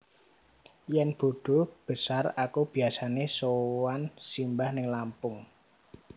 Yen bodo besar aku biasane sowan simbah ning Lampung